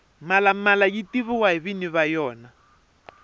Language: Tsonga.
mhalamala yi tiviwa hi nwinyi wa yena